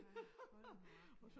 Ja hold nu op ja